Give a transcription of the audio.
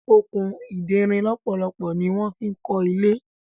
Okùn ìderin lọpọlọpọ ní wan fí kò ilé.